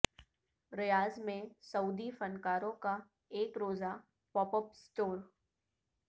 ریاض میں سعودی فنکاروں کا ایک روزہ پاپ اپ سٹور